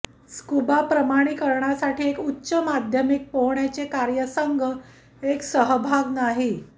scuba प्रमाणीकरणासाठी एक उच्च माध्यमिक पोहण्याचे कार्यसंघ एक सहभाग नाही